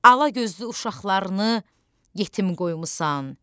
Alagözlü uşaqlarını yetim qoymusan.